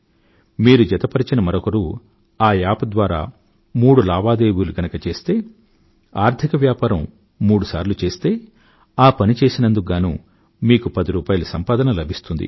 మీరు జతపరిచిన మరొకరు ఆ యాప్ ద్వారా మూడు లావాదేవీలు గనుక చేస్తే ఆర్థిక వ్యాపారం మూడు సార్లు చేస్తే ఆ పని చేసినందుకు గానూ మీకు పది రూపాయిల సంపాదన లభిస్తుంది